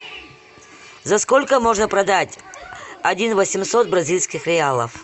за сколько можно продать один восемьсот бразильских реалов